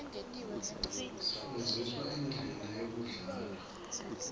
sifndziswa indlela yekudlala